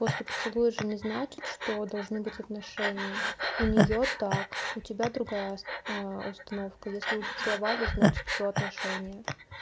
после поцелуя же не значит что должны быть отношения у неё так у тебя другая установка если вы поцеловались значит всё отношения